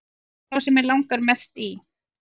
Sá sem mig langar mest í